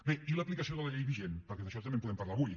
bé i l’aplicació de la llei vigent perquè d’això també en podem parlar avui